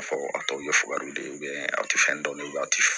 Fɔ a tɔw ye fugariw de ye a tɛ fɛn dɔn a tɛ